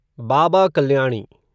Baba Kalyani